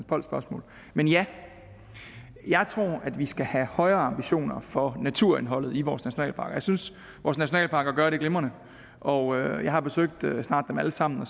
polls spørgsmål men ja jeg tror at vi skal have højere ambitioner for naturindholdet i vores nationalparker jeg synes vores nationalparker gør det glimrende og jeg har besøgt snart dem alle sammen og